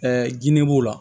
jinɛ b'o la